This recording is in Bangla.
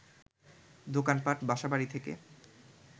দোকানপাট, বাসা-বাড়ি থেকে